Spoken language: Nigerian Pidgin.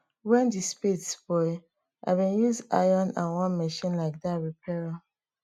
when di spade spoil i bin use iron and one machine like dat repair am